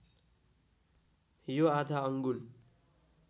यो आधा अङ्गुल